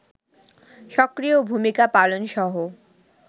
সক্রিয় ভূমিকা পালনসহ